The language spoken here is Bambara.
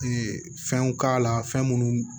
fɛnw k'a la fɛn minnu